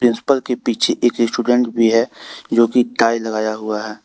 Principal के पीछे एक स्टूडेंट भी है जो कि टाई लगाया हुआ है।